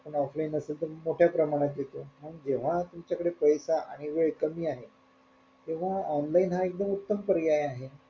Offline असल तर मोठया प्रमाणात येतो जेव्हा तुमच्याकडे पैसा आणि वेळ कमी आहे तेव्हा online हा एकदम उत्तम पर्याय आहे.